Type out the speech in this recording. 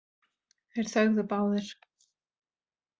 Þeir þögðu báðir.